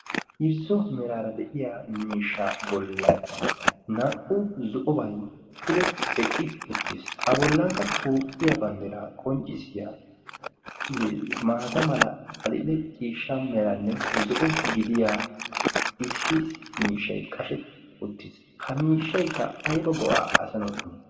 irzzo meraara de'iya miishsha bollan naa''u zo'obay pude eqqi uttiis a bollankka tooqqiya bandderaa qonccissiya maata mala axille ciishsha meranne zo'o gidiya issi miishshay qashetti uttiis ha miishshaykka ayba go'aa asanawu imii